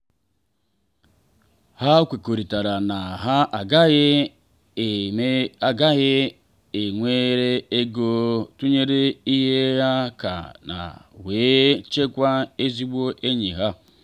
ha kwekọrịtara na ha agaghị ha agaghị ewere ego tụnyere ibe ha ka ha wee chekwaa ezigbo enyi ha.